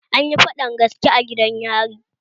Anyi faɗan gaske a gidan yari